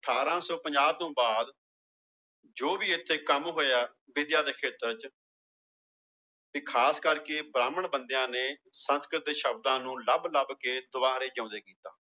ਅਠਾਰਾਂ ਸੌ ਪੰਜਾਹ ਤੋਂ ਬਾਅਦ ਜੋ ਵੀ ਇੱਥੇ ਕੰਮ ਹੋਇਆ ਵਿੱਦਿਆ ਦੇ ਖੇਤਰ ਚ ਵੀ ਖ਼ਾਸ ਕਰਕੇ ਬ੍ਰਾਹਮਣ ਬੰਦਿਆਂ ਨੇ ਸੰਸਕ੍ਰਿਤ ਦੇ ਸ਼ਬਦਾਂ ਨੂੰ ਲੱਭ ਲੱਭ ਕੇ ਦੁਬਾਰੇ ਜਿਉਂਦੇ ਕੀਤਾ।